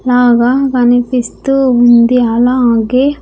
లాగా కనిపిస్తూ ఉంది అలాగే.